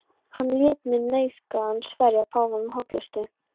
Hann lét mig nauðugan sverja páfanum hollustu.